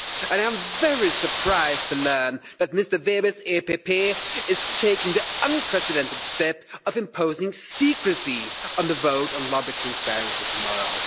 I am very surprised to learn that Mr Weber's EPP is taking the unprecedented step of imposing secrecy on the vote on lobby transparent tomorrow.